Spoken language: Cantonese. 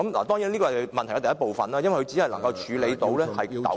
當然，這是問題的第一部分，因為它只能處理糾紛......